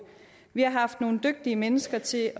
vi har haft nogle dygtige mennesker til at